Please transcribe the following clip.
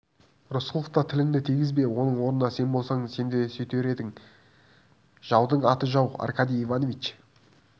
рысқұловқа тіліңді тигізбе оның орнында сен болсаң сен де сөйтер едің жаудың аты жау аркадий иванович